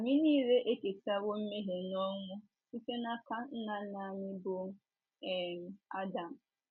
Anyị nile eketawo mmehie na ọnwụ site n’aka nna nna anyị bụ́ um Adam.